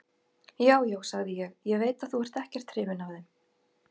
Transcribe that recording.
Já, já, sagði ég, ég veit að þú ert ekkert hrifinn af þeim.